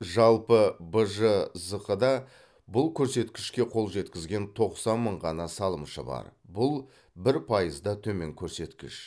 жалпы бжзқ да бұл көрсеткішке қол жеткізген тоқсан мың ғана салымшы бар бұл бір пайызда төмен көрсеткіш